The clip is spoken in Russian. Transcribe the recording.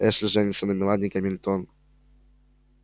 эшли женится на мелани гамильтон